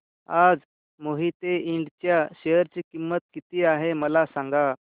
आज मोहिते इंड च्या शेअर ची किंमत किती आहे मला सांगा